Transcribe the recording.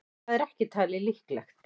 Það er ekki talið líklegt.